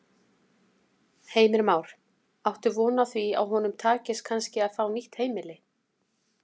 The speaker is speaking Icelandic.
Heimir Már: Áttu von á því að honum takist kannski að fá nýtt heimili?